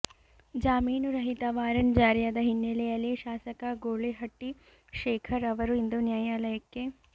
ಜಾಮೀನು ರಹಿತ ವಾರಂಟ್ ಜಾರಿಯಾದ ಹಿನ್ನೆಲೆಯಲ್ಲಿ ಶಾಸಕ ಗೂಳಿಹಟ್ಟಿ ಶೇಖರ್ ಅವರು ಇಂದು ನ್ಯಾಯಾಲಯಕ್ಕೆ